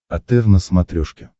отр на смотрешке